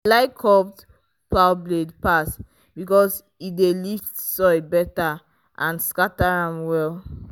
i like curved plow blade pass because e dey lift soil better and scatter am well.